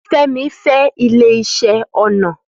Femi fe ile ise ona.